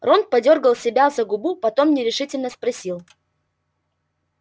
рон подёргал себя за губу потом нерешительно спросил